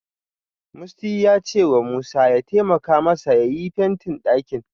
Musty ya cewa Musa ya taimaka masa yayi fentin ɗakin.